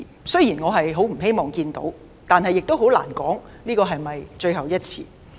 雖然我不希望看到這種事，但亦很難說這是否最後一次。